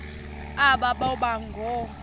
aba boba ngoo